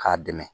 K'a dɛmɛ